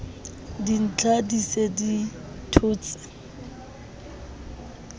dintja di se di thotse